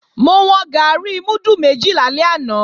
Mo wọn gàárì múdù méjì lálẹ́ àná